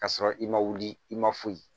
Ka sɔrɔ i ma wuli i ma foyi